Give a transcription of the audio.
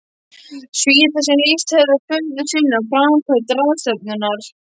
Svíþjóð, sem lýst hefðu furðu sinni á framkvæmd ráðstefnunnar.